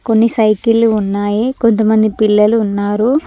కొన్ని సైకిళ్లు ఉన్నాయి కొంతమంది పిల్లలు ఉన్నారు.